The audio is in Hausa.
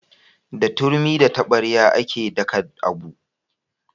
Da turmi da taɓarya a ke daka abu